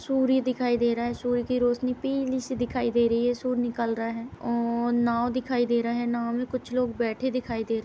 सूर्य दिखाई दे रहा है। सूर्य की रोशनी पीली सी दिखाई दे रही है। सूर्य निकल रहा है और नाव दिखाई दे रहा है। नाव में कुछ लोग बैठे दिखाई दे र --